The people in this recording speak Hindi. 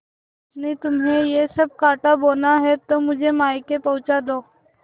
पत्नीतुम्हें यह सब कॉँटा बोना है तो मुझे मायके पहुँचा दो